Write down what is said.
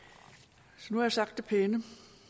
nu har jeg sagt det pæne